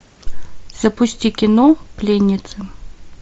запусти кино пленница